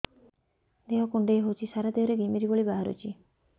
ଦେହ କୁଣ୍ଡେଇ ହେଉଛି ସାରା ଦେହ ରେ ଘିମିରି ଭଳି ବାହାରୁଛି